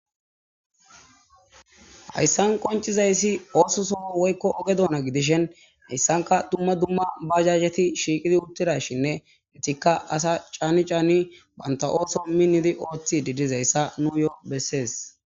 Hayssan qonccizayssi oososo woykko oge doona gidishin,hayssankka dumma dumma bajajeti shiiqidi uttidayssanne eetika ada caani caani bantta ooson oothidi dizayssa nuusi bessesi.